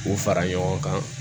K'u fara ɲɔgɔn kan